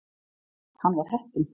Hann var heppinn.